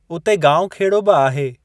उते गांवखेड़ो बि आहे।